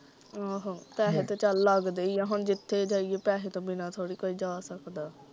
ਆਹੋ, ਪੈਸੇ ਤੇ ਚੱਲ ਲਗਦੇ ਹੀ ਆ ਹੁਣ ਜਿੱਥੇ ਜਾਈਏ ਪੈਸੇ ਤੋਂ ਬਿਨਾ ਥੋੜੀ ਕੋਈ ਜਾ ਸਕਦਾ।